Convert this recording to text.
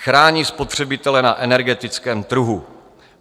Chrání spotřebitele na energetickém trhu.